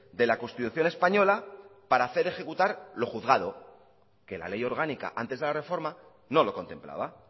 de la constitución española para hacer ejecutar lo juzgado que la ley orgánica antes de la reforma no lo contemplaba